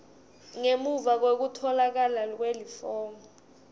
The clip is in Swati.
ngemuva kwekutfolakala kwelifomu